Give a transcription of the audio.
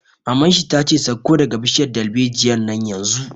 Maman shi ta ce 'Sauko daga bishiyar dalbejiyar nan yanzu'!